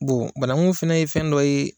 Bon banaŋu fɛnɛ ye fɛn dɔ ye